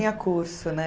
curso, né?